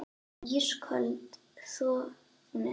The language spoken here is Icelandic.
Ísköld þögnin.